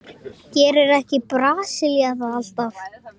Gerir ekki Brasilía það alltaf?